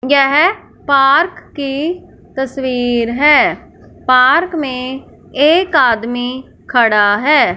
यह पार्क की तस्वीर है पार्क में एक आदमी खड़ा है।